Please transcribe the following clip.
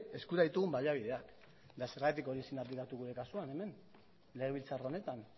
eskura ditugun baliabideak ere eta zergatik hori ezin da aplikatu gure kasuan hemen legebiltzar honetan